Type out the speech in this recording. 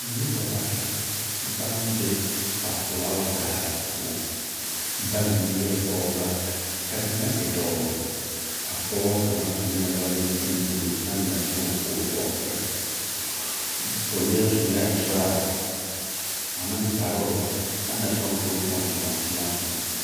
Noba bata, baŋ be ba filaawa gaadiŋ poͻŋ. Bayi eԑԑ pͻgeba, ka kaŋa e dͻͻ. A pͻge kaŋa eŋԑԑ walentinbuute kaa na soŋ o ka o tͻͻ pere. O leԑ tuŋԑԑ toraa ane kparoo aŋ na soŋ ka o tõͻ toŋaa toma soŋ.